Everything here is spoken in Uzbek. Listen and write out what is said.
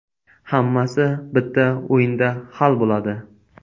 Hammasi bitta o‘yinda hal bo‘ladi.